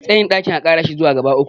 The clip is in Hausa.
tsayin ɗakin a Kara shi zuwa gaba uku